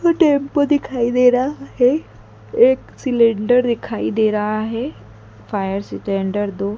tempo दिखाई दे रहा है एक सिलेंडर दिखाई दे रहा है फायर सिलेंडर दो--